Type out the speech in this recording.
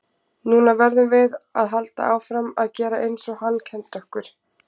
Núna verðum við að halda áfram að gera eins og hann kenndi okkur.